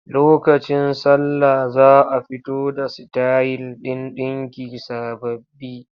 Lokacin sallah za a fito da sitayil ɗin ɗinki sababbi.